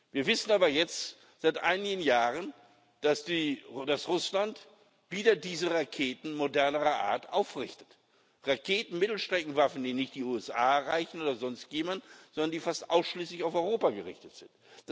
Wir wissen aber jetzt seit einigen Jahren, dass Russland wieder diese Raketen moderner Art aufrichtet Raketen, Mittelstreckenwaffen, die nicht die USA erreichen oder sonst jemanden, sondern die fast ausschließlich auf Europa gerichtet sind.